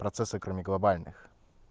процессы кроме глобальных